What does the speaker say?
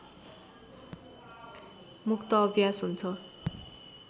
मुक्त अभ्यास हुन्छ